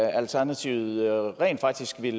alternativet rent faktisk vil